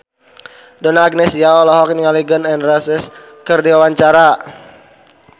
Donna Agnesia olohok ningali Gun N Roses keur diwawancara